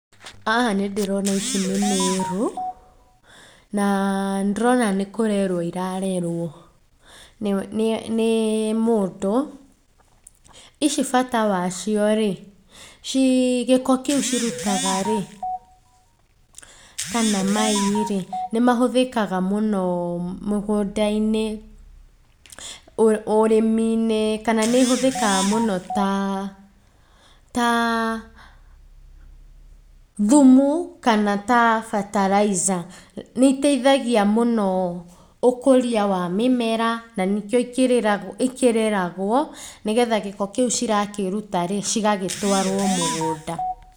Haha nĩndĩrona ici nĩ igunyũ, na nĩndĩrona nĩkũrerwo irarerwo nĩ nĩ nĩ mũndũ, ici bata wacio rĩ, ci gĩko kĩu kĩrutaga rĩ, kana mai rĩ nĩmahũthĩkaga mũno mũgũndainĩ ũ ũrĩminĩ kana nĩihũthĩkaga mũno ta ta thumu, kana ta bataraitha. Nĩiteithagia mũno ũkũria wa mĩmera, na nĩkio ikĩ ikĩreragwo, nĩgetha gĩko kĩũ cirakĩruta rĩ, cĩgagĩtwarwo mũgũnda.